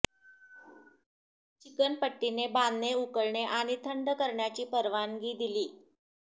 chicken पट्टीने बांधणे उकळणे आणि थंड करण्याची परवानगी दिली